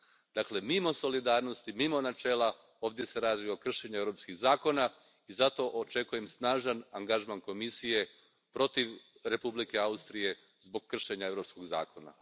Dakle, mimo solidarnosti, mimo načela, ovdje se radi o kršenju europskih zakona i zato očekujem snažan angažman Komisije protiv Republike Austrije zbog kršenja europskog zakona.